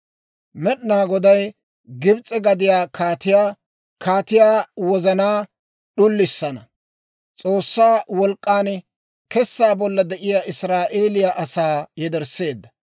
Med'inaa Goday Gibs'e gade kaatiyaa wozanaa d'ullissina, S'oossaa wolk'k'aan kessaa bolla de'iyaa Israa'eeliyaa asaa yedersseedda.